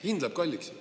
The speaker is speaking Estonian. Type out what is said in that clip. Hind läheb kalliks.